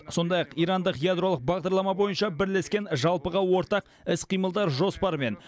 сондай ақ ирандық ядролық бағдарлама бойынша бірлескен жалпыға ортақ іс қимылдар жоспары мен